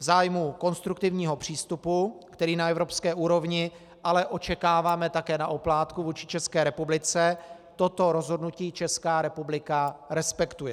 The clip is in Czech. V zájmu konstruktivního přístupu, který na evropské úrovni ale očekáváme také na oplátku vůči České republice, toto rozhodnutí Česká republika respektuje.